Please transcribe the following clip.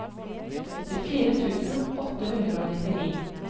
åttifire tusen åtte hundre og nittini